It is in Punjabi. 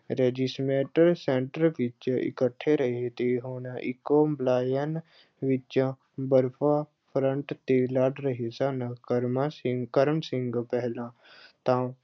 regiment center ਵਿੱਚ ਇਕੱਠੇ ਰਹੇ ਤੇ ਹੁਣ ਇੱਕੋ line ਵਿੱਚੋਂ ਬਰਫ਼ਾ front ਤੇ ਲੜ ਰਹੇ ਸਨ ਕਰਮਾਂ ਸਿੰ ਅਹ ਕਰਮ ਸਿੰਘ ਪਹਿਲਾਂ ਤਾਂ